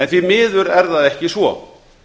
því miður er það ekki svo